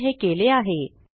आपण हे केले आहे